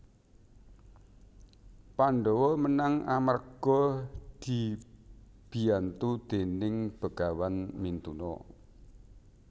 Pandhawa menang amarga dibiyantu déning Begawan Mintuna